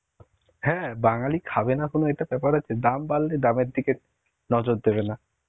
হ্যাঁ, বাঙালি খাবে না কোনও এটা ব্যাপার আছে. দাম বাড়লে দামের দিকে নজর দেবে না